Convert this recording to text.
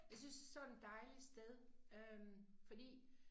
Jeg synes sådan dejlig sted øh fordi